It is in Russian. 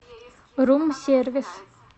рум сервис